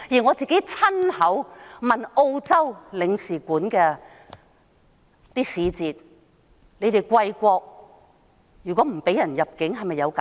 我也親自向澳洲領事館的使節詢問，如果貴國不批准某人入境，會否給予解釋？